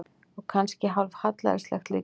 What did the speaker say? Og kannski hálf hallærislegt líka.